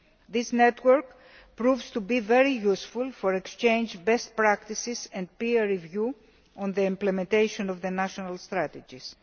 This network is proving to be very useful for the exchange of best practices and peer review of the implementation of the national strategies.